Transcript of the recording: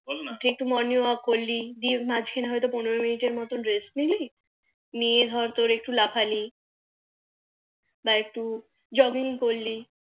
বল না দিয়ে একটু Morning Work করলি দিয়ে মাঝখানে পনেরো Minute মতো Rest নিলি নিয়ে তোর একটু লাফালি বা একটু যোগিং করলি